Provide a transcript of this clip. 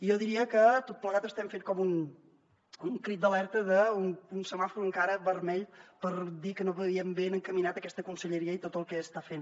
jo diria que amb tot plegat estem fent com un crit d’alerta d’un semàfor encara vermell per dir que no veiem ben encaminada aquesta conselleria i tot el que està fent